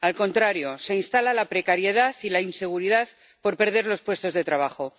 Al contrario, se instala la precariedad y la inseguridad por perder los puestos de trabajo.